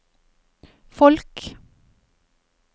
folk